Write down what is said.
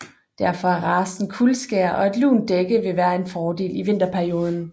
Derfor er racen kuldskær og et lunt dækken vil være en fordel i vinterperioden